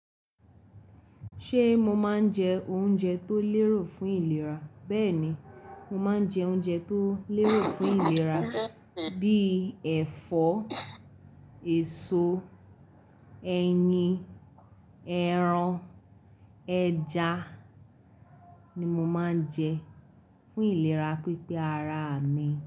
Ṣé mo máa ń jẹ oúnjẹ tó lérò fún ìlera? Bẹ́ẹ̀ni, mo máa ń jẹ oúnjẹ tó lérò fún ìlera bíi ẹ̀fọ́, èso, ẹyin, ẹran, ẹja ni mo máa ń jẹ fún ìlera pípé ara mi.